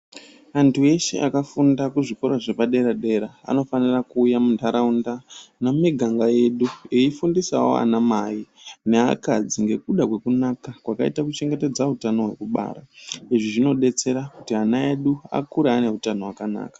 Antu eshe akafunda kuzvikora zvepaderadera anofanira kuuya muntaraunda nemuniganga yedu eyifundisawo ana mai neakadzi ngekuda kwekunaka kwakaite kuchengetedza utano hwekubara. Izvi zvinodetsera kuti ana edu akure ane utano hwakanaka.